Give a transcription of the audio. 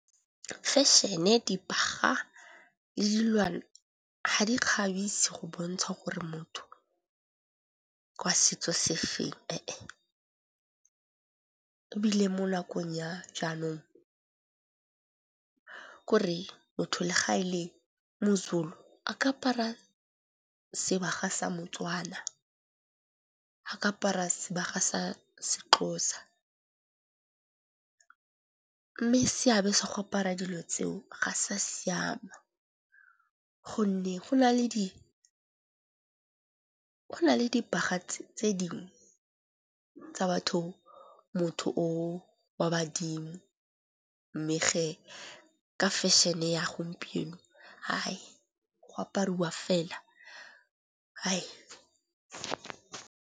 Fashion-e, dibagwa le dilwana ha di kgabisi go bontsha gore motho wa setso sefeng. Ebile mo nakong ya jaanong ko re motho le ga e le mo-Zulu a ka apara sebaka sa motswana a ka apara sebaka sa seXhosa. Mme seabe sa go apara dilo tseo ga sa siama gonne go na le dibaga tse dingwe tsa motho o wa badimo mme ge ka fashion-e ya gompieno go apariwa fela.